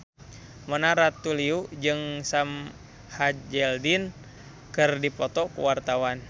Mona Ratuliu jeung Sam Hazeldine keur dipoto ku wartawan